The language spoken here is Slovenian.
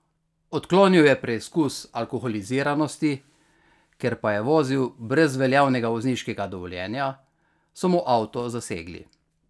Odklonil je preizkus alkoholiziranosti, ker pa je vozil brez veljavnega vozniškega dovoljenja, so mu avto zasegli.